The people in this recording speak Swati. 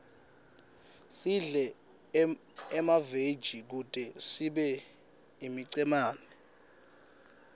sidle emaveji kute sibe imicemane